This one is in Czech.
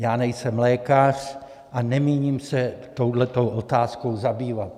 Já nejsem lékař a nemíním se touhle otázkou zabývat.